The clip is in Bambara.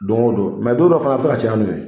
Don o don don dɔ fana bɛ se ka caya n'u ye.